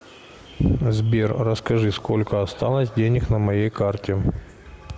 сбер расскажи сколько осталось денег на моей карте